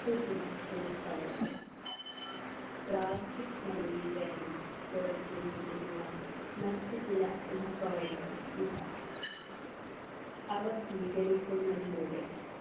മറ്റുചില എളുപ്പ വഴികൾ plastic മലിനീകരണം കുറയ്ക്കുന്നതിനുള്ള മറ്റു ചില എളുപ്പ വഴികൾ ഇതാ അവ സ്വീകരിക്കുന്നതിലൂടെ